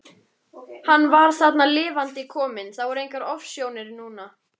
Hann var þarna lifandi kominn, það voru engar ofsjónir núna!